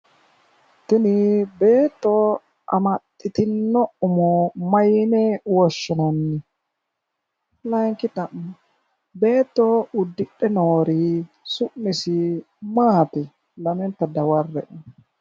tini beetto amaxxitino umo mayiine woshshinanni?, layiinki xa'mo beetto uddidhe noori summasi maati ?,lamenta dawarre''e.